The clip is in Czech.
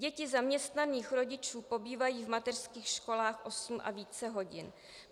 Děti zaměstnaných rodičů pobývají v mateřských školách osm a více hodin.